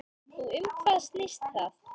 Og um hvað snýst það?